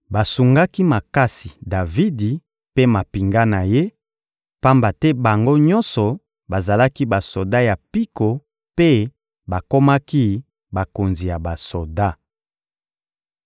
Basungaki makasi Davidi mpe mampinga na ye, pamba te bango nyonso bazalaki basoda ya mpiko mpe bakomaki bakonzi ya basoda.